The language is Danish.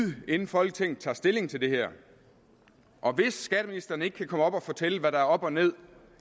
inden folketinget tager stilling til det her og hvis skatteministeren ikke kan komme op og fortælle hvad der er op og ned